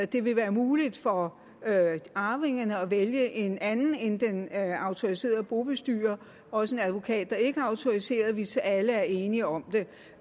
det vil være muligt for arvingerne at vælge en anden end den autoriserede bobestyrer og også en advokat der ikke er autoriseret hvis alle er enige om det